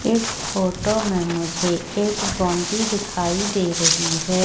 इस फोटो में मुझे एक बाउंड्री दिखाई दे रही है।